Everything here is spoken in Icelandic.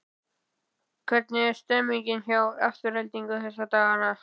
Hvernig er stemmningin hjá Aftureldingu þessa dagana?